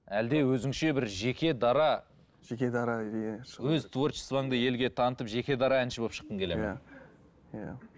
әлде өзіңше бір жеке дара жеке дара иә өз творчествоңды елге танытып жеке дара әнші болып шыққың келеді ме иә иә